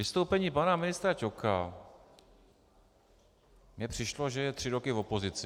Vystoupení pana ministra Ťoka mi přišlo, že je tři roky v opozici.